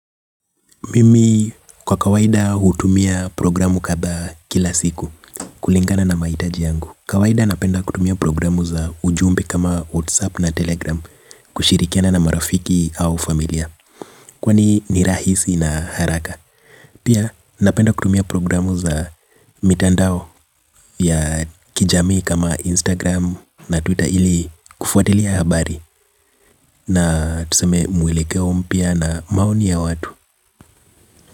Mimi kwa kawaida hutumia programu kadhaa kila siku kulingana na mahitaji yangu. Kawaida napenda kutumia programu za ujumbe kama whatsapp na telegram kushirikiana na marafiki au familia. Kwani ni rahisi na haraka. Pia napenda kutumia programu za mitandao ya kijamii kama instagram na twitter ili kufuatilia habari. Na tuseme mwelekeo mpya na maoni ya watu.